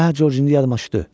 Hə, Corc, indi yadıma düşdü.